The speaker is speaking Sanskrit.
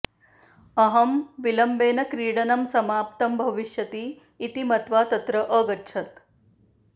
अहं विलम्बेन क्रीडनं समाप्तं भविष्यति इति मत्वा तत्र अगच्छत्